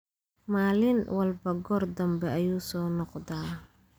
Maalin walba goor dambe ayuu soo noqdaa